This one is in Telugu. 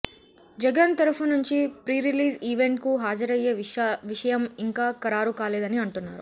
జగన్ తరఫునుంచి ప్రీరిలీజ్ ఈవెంట్ కు హాజరయ్యే విషయం ఇంకా ఖరారుకాలేదని అంటున్నారు